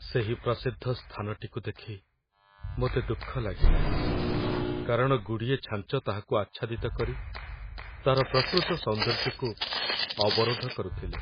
ସେହି ପ୍ରସିଦ୍ଧ ସ୍ଥାନଟିକୁ ଦେଖି ମୋତେ ଦୁଃଖ ଲାଗିଲା, କାରଣ ଗୁଡ଼ିଏ ଛାଞ୍ଚ ତାହାକୁ ଆଚ୍ଛାଦିତ କରି ତା'ର ପ୍ରକୃତ ସୌନ୍ଦର୍ଯ୍ୟକୁ ଅବରୋଧ କରୁଥିଲେ।